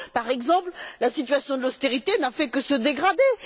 Par exemple, la situation de l'austérité n'a fait que se dégrader.